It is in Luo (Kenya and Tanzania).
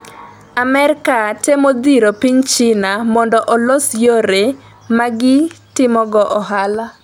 Amerka temo dhiro piny China mondo olos yore ma gitimogo ohala,